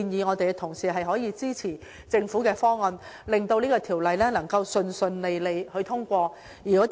我亦呼籲同事支持政府的方案，令《條例草案》順利獲得通過。